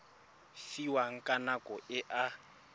fiwang ka nako e a